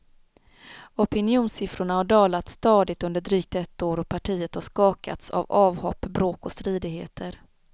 Opinionssiffrorna har dalat stadigt under drygt ett år och partiet har skakats av avhopp, bråk och stridigheter.